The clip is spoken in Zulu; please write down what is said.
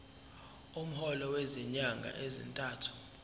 umholo wezinyanga ezintathu